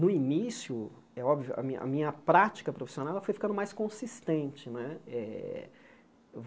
No início, é óbvio, a minha a minha prática profissional ela foi ficando mais consistente né. Eh